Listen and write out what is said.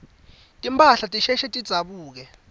timphahla tisheshe tidzabuke